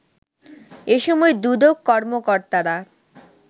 এসময় দুদক কর্মকর্তারা